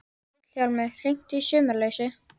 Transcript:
Vilhjálmur, hringdu í Sumarlausu.